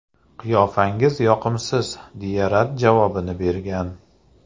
Qiyofangiz yoqimsiz”, deya rad javobini bergan.